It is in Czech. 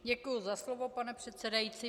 Děkuji za slovo, pane předsedající.